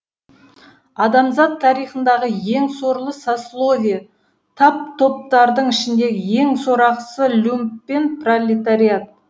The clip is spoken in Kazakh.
адамзат тарихындағы ең сорлы сословие тап топтардың ішіндегі ең сорақысы люмпен пролетариат